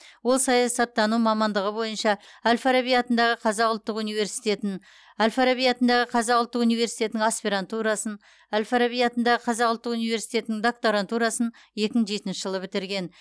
ол саясаттану мамандығы бойынша әл фараби атындағы қазақ ұлттық университетін әл фараби атындағы қазақ ұлттық университетінің аспирантурасын әл фараби атындағы қазақ ұлттық университетінің докторантурасын екі мың жетінші жылы бітірген